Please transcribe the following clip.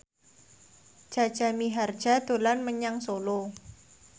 Jaja Mihardja dolan menyang Solo